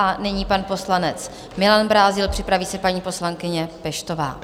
A nyní pan poslanec Milan Brázdil, připraví se paní poslankyně Peštová.